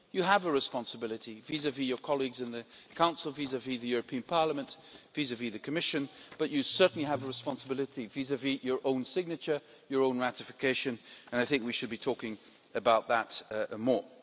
You have a responsibility vis vis your colleagues in the Council, vis vis the European Parliament, vis vis the Commission, but you certainly have a responsibility vis vis your own signature, your own ratification, and I think we should be talking about that more.